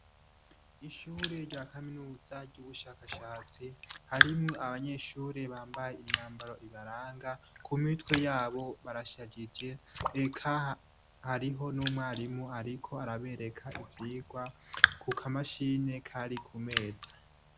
Mw'ishure rya kaminuza ry'ubushakashatsi, harimwo abanyeshure bambaye imyambaro ibaranga. Ku mitwe y'abo barashajije. Eka hariho n'umwarimu ariko arabereka ivyigwa ku kamashini k'ari ku meza.